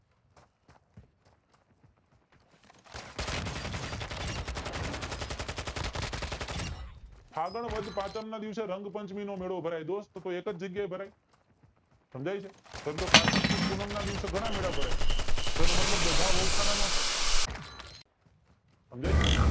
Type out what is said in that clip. ફાગણ વદ પાંચમ ને દિવસે રંગ પાંચમી નો મેળો ભરાય જોવો તો કોઈ એકે ભરાય સમજાય છે એમ તો કારતક સુદ પૂનમ ના દિવસે ઘણા મેળા ભરાય છે તો તેનો મતલબ બધા નો થાય સમજાય છે